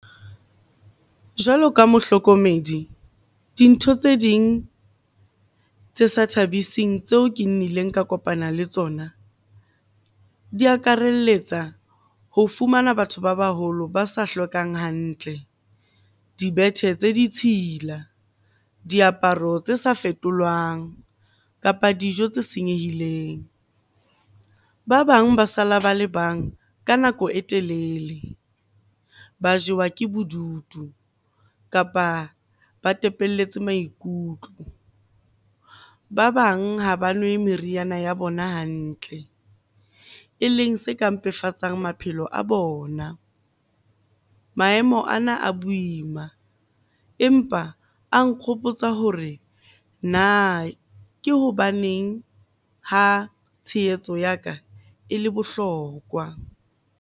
Jwalo ka mohlokomedi, dintho tse ding tse sa thabising tseo ke nnileng ka kopana le tsona di akaraletsa ho fumana batho ba baholo ba sa hlokang hantle. Dibethe tse ditshila, diaparo tse sa fetolwang, kapa dijo tse senyehileng. Ba bang ba sala ba le bang ka nako e telele, ba jewa ke bodutu kapa ba tepelletse maikutlo. Ba bang ha ba nwe meriana ya bona hantle e leng se ka mpefatsa maphelo a bona. Maemo ana a boima, empa a nkgopotsa hore na ke hobaneng ha tshehetso ya ka e le bohlokwa.